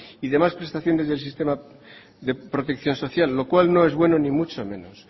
y demás prestaciones del sistema de protección social lo cual no es bueno ni mucho menos